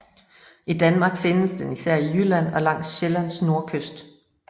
I Danmark findes den især i Jylland og langs Sjællands nordkyst